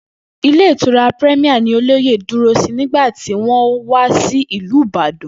Ilé Ìtura Premier ni olóyè dúró nígbà tí wó̩n wá sí ìlú Ìbàdàn